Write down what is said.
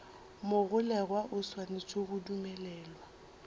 mogolegwa o swanetše go dumelelwa